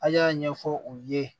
A y'a ɲɛfɔ u ye